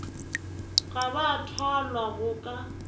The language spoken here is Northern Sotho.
ga ba thwalwa go ka